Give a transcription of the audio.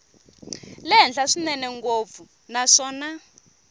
le henhla swinene ngopfu naswona